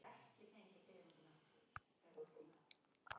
Í svari Gylfa er hægt að lesa frekar um það af hverju verðbólga verður.